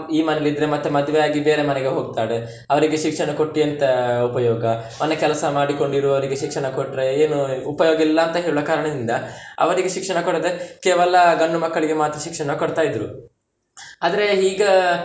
ಈ ಮನೆಯಲ್ಲಿದ್ರೆ ಮತ್ತೆ ಮದ್ವೆಯಾಗಿ ಬೇರೆ ಮನೆಗೆ ಹೋಗ್ತಾಳೆ ಅವ್ರಿಗೆ ಶಿಕ್ಷಣ ಕೊಟ್ಟು ಎಂತ ಉಪಯೋಗ, ಮನೆ ಕೆಲಸ ಮಾಡಿಕೊಂಡು ಇರುವವರಿಗೆ ಶಿಕ್ಷಣ ಕೊಟ್ರೆ ಏನು ಉಪಯೋಗ ಇಲ್ಲ ಅಂತ ಹೇಳುವ ಕಾರಣದಿಂದ, ಅವ್ರಿಗೆ ಶಿಕ್ಷಣ ಕೊಡದೆ ಕೇವಲ ಗಂಡು ಮಕ್ಕಳಿಗೆ ಮಾತ್ರ ಶಿಕ್ಷಣ ಕೊಡ್ತ ಇದ್ರು, ಆದ್ರೆ ಈಗ.